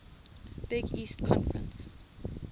big east conference